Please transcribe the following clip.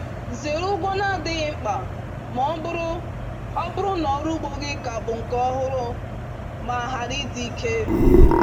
Zere ụgwọ na-adịghị mkpa ma ọ bụrụ ọ bụrụ na ọrụ ugbo gị ka bụ nke ọhụrụ ma ghara ịdị ike